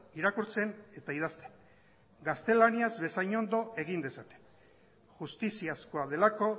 irakurtzen eta idazten gaztelaniaz bezain ondo egin dezaten justiziazkoa delako